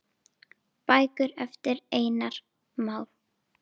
Bækur eftir Einar Má.